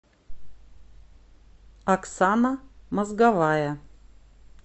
оксана мозговая